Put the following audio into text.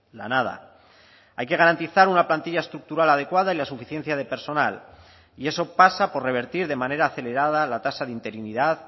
la nada hay que garantizar una plantilla estructural adecuada y la suficiencia de personal y eso pasa por revertir de manera acelerada la tasa de interinidad